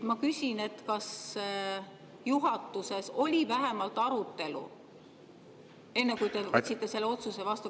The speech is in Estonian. Ma küsin, kas juhatuses oli vähemalt arutelu, enne kui te võtsite selle otsuse vastu.